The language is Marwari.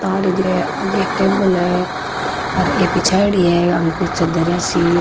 तार है आगे एक टेबल है और ये बिछाईडी है आंके नीच दरिया सी।